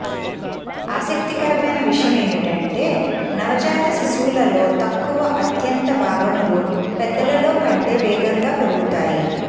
ఆసక్తికరమైన విషయమేమిటంటే నవజాత శిశువులలో తక్కువ అంత్య భాగములు పెద్దలలో కంటే వేగంగా పెరుగుతాయి